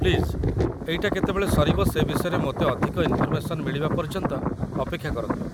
Please ଏଇଟା କେତେବେଳେ ସରିବ ସେ ବିଷୟରେ ମୋତେ ଅଧିକ ଇନ୍‌ଫର୍‌ମେସନ୍ ମିଳିବା ପର୍ଯ୍ୟନ୍ତ ଅପେକ୍ଷା କରନ୍ତୁ ।